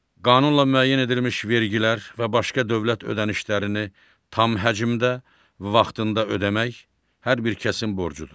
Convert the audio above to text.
Qanunla müəyyən edilmiş vergilər və başqa dövlət ödənişlərini tam həcmdə, vaxtında ödəmək hər bir kəsin borcudur.